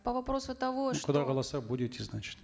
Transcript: по вопросу того құдай қаласа будете значит